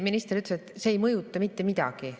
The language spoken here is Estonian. Minister ütles, et see ei mõjuta mitte midagi.